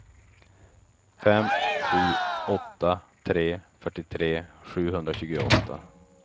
fem sju åtta tre fyrtiotre sjuhundratjugoåtta